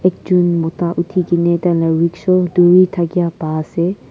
ekjon mota uthi kene tai la rickshaw duri thakia pa ase.